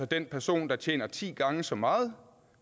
den person der tjener ti gange så meget